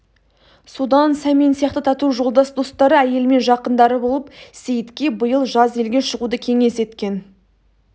содан сәмен сияқты тату жолдас достары әйелі мен жақындары болып сейітке биыл жаз елге шығуды кеңес еткен